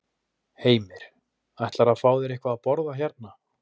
Heimir: Ætlarðu að fá þér eitthvað að borða hérna?